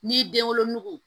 N'i den wolonugu